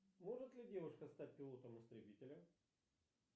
может ли девушка стать пилотом истребителя